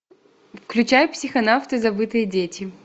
включай психонавты забытые дети